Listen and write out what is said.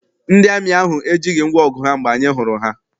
Ndị amị ahụ ejighị ngwaọgụ ha mgbe anyị hụrụ ha.